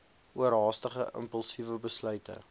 oorhaastige impulsiewe besluite